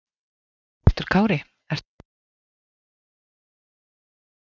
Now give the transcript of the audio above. Höskuldur Kári: Ertu búinn að finna eitthvað áhugavert hérna á markaðnum?